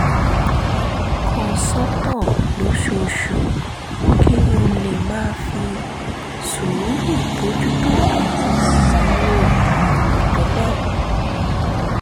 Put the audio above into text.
kan sọ́tọ̀ lóṣooṣù kí n lè máa fi sùúrù bójú tó àwọn ìnáwó àìròtẹ́lẹ̀